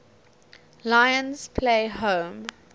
lions play home